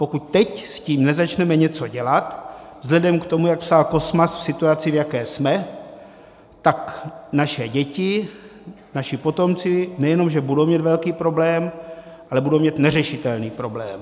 Pokud s tím teď nezačneme něco dělat, vzhledem k tomu, jak psal Kosmas, v situaci, v jaké jsme, tak naše děti, naši potomci nejenom že budou mít velký problém, ale budou mít neřešitelný problém.